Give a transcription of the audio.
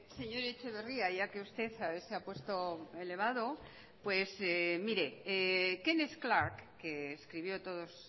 sí señor etxeberria ya que usted se ha puesto elevado pues mire kenneth clark que escribió todos